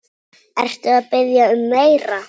Ertu að biðja um meira.